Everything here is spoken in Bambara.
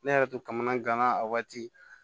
Ne yɛrɛ to kamanagan gana a waati